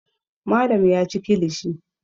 Malam ya ci kilishi.